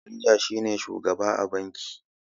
Manajan shi ne shugaba a banki.